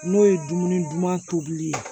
N'o ye dumuni duman tobili ye